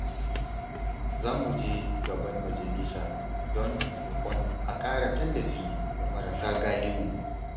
Za mu je gaban majalisa don roƙon a ƙara tallafi ga marasa galihu.